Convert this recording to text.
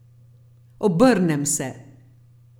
Obrnem se.